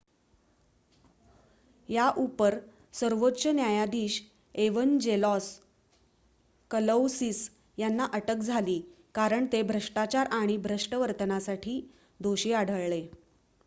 याउपर सर्वोच्च न्यायाधीश Evangelos Kalousis यांना अटक झाली कारण ते भ्रष्टाचार आणि भ्रष्ट वर्तनासाठी दोषी आढळले